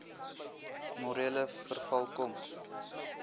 morele verval kom